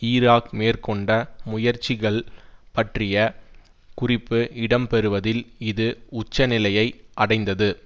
Iraq மேற்கொண்ட முயற்சிகள் பற்றிய குறிப்பு இடம் பெறுவதில் இது உச்ச நிலையை அடைந்தது